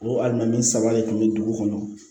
O a minɛn saba de kun be dugu kɔnɔ